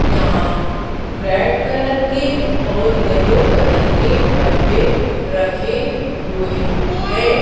यहां red colour के और येलो कलर के डब्बे रखे हुए हैं।